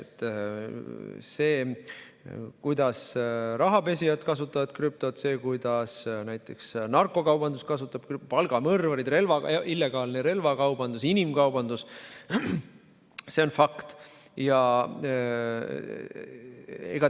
See, kuidas rahapesijad kasutavad krüptot, see, kuidas narkokaubandus, palgamõrvarid, illegaalne relvakaubandus ja inimkaubandus, on fakt.